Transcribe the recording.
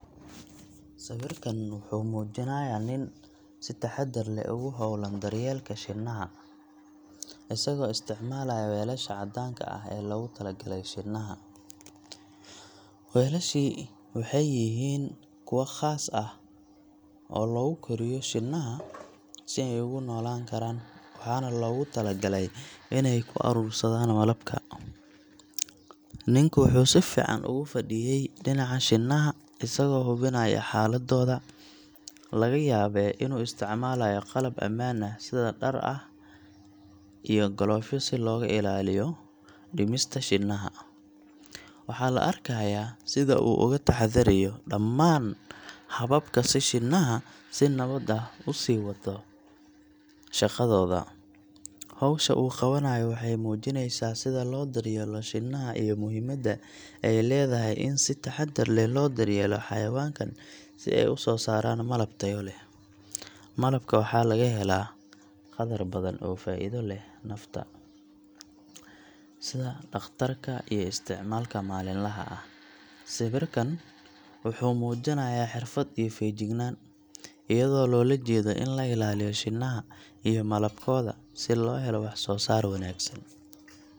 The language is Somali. Sawirkan wuxuu muujinayaa nin si taxaddar leh ugu hawlan daryeelka shinnaha, isagoo isticmaalaya weelasha cadaanka ah ee loogu talagalay shinnaha. Weelashaasi waxay yihiin kuwa khaas ah oo lagu koriyo shinnaha si ay ugu noolaan karaan, waxaana loogu tala galay inay ku urursadaan malabka. Ninku wuxuu si fiican ugu fadhiyay dhinaca shinnaha, isagoo hubinaya xaaladooda, laga yaabee inuu isticmaalayo qalab ammaan ah sida dhar gaar ah iyo galoofyo si looga ilaaliyo dhimista shinnaha. Waxaa la arkayaa sida uu uga taxadariyo dhammaan hababka si shinnaha si nabad ah u sii wadato shaqadooda. Hawsha uu qabanayo waxay muujineysaa sida loo daryeelo shinnaha iyo muhiimadda ay leedahay in si taxaddar leh loo daryeelo xayawaankan si ay u soo saaraan malab tayo leh. Malabka waxaa laga helaa qadar badan oo faa’iido u leh nafta, sida dhakhtarka iyo isticmaalka maalinlaha ah. Sawirkan wuxuu muujinayaa xirfad iyo feejignaan, iyadoo loola jeedo in la ilaaliyo shinnaha iyo malabkooda si loo helo wax soo saar wanaagsan.